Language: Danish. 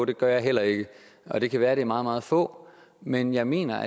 det gør jeg heller ikke det kan være det er meget meget få men jeg mener